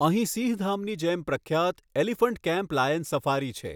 અહીં સિંહધામની જેમ પ્રખ્યાત એલિફન્ટ કેમ્પ, લાયન સફારી છે.